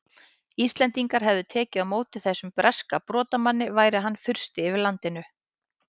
Íslendingar hefðu tekið á móti þessum breska brotamanni sem væri hann fursti yfir landinu!